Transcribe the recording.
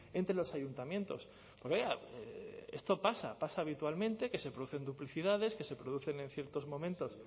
entre los ayuntamientos esto pasa pasa habitualmente que se producen duplicidades que se producen en ciertos momentos